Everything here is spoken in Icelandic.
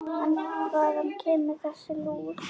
En hvaðan kemur þessi lús?